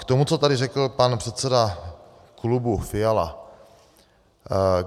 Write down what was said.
K tomu, co tady řekl pan předseda klubu Fiala.